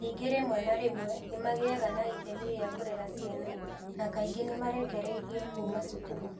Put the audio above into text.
Ningĩ rĩmwe na rĩmwe nĩ magĩaga na itemi rĩa kũrera ciana na kaingĩ nĩ nĩ marekererio kuuma cukuru.